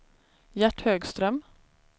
Gert Högström